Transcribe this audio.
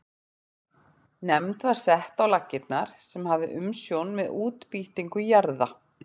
Nefnd var sett á laggirnar sem hafði umsjón með útbýtingu jarða.